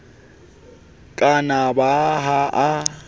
ka na ba ha a